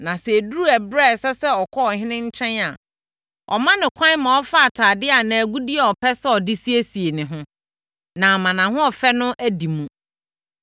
Na sɛ ɛduru ɛberɛ a ɛsɛ sɛ ɔkɔ ɔhene nkyɛn a wɔma no kwan ma ɔfa atadeɛ anaa agudeɛ a ɔpɛ sɛ ɔde siesie ne ho, na ama nʼahoɔfɛ no adi mu.